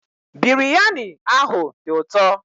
Biryani ahụ dị ụtọ